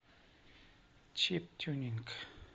чип тюнинг